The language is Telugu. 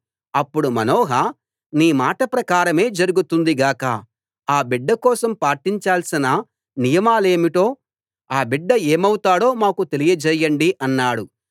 అప్పుడు మానోహ నీ మాట ప్రకారమే జరుగుతుంది గాక ఆ బిడ్డ కోసం పాటించాల్సిన నియమాలేమిటో ఆ బిడ్డ ఏమవుతాడో మాకు తెలియ చేయండి అన్నాడు